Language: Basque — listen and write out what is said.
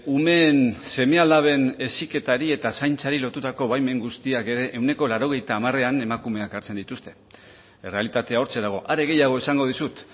umeen seme alaben heziketari eta zaintzari lotutako baimen guztiak ere ehuneko laurogeita hamarean emakumeak hartzen dituzte errealitatea hortxe dago are gehiago esango dizut